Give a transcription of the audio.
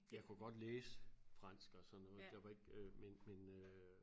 Jeg kunne godt læse fransk og sådan noget der var ikke øh men men øh